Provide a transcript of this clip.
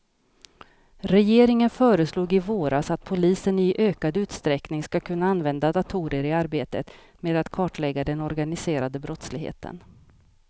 Regeringen föreslog i våras att polisen i ökad utsträckning ska kunna använda datorer i arbetet med att kartlägga den organiserade brottsligheten.